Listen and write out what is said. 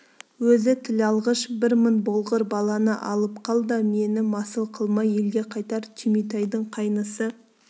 өзі тілалғыш бір мың болғыр баланы алып қал да мені масыл қылмай елге қайтар түйметайдың қайнысы